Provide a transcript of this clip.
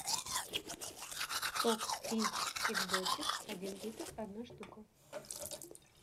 сок рич экзотик один литр одна штука